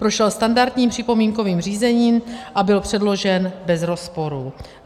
Prošel standardním připomínkovým řízením a byl předložen bez rozporu.